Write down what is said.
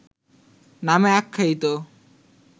নামে আখ্যায়িত